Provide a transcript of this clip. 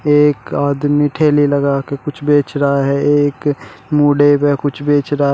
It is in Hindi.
एक आदमी ठेले लगाके कुछ बेच रहा है एक मूढ़े में कुछ बेच रहा--